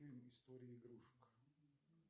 фильм истории игрушек